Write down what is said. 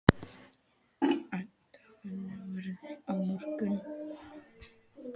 Ida, hvernig er veðrið á morgun?